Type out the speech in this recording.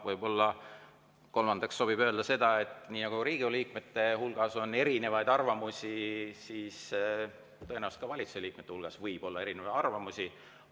Võib-olla kolmandaks sobib öelda seda, et nii nagu Riigikogu liikmete hulgas on erinevaid arvamusi, siis tõenäoliselt ka valitsuse liikmete hulgas võib olla erinevaid arvamusi.